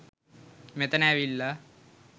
මෙතන ඇවිල්ලා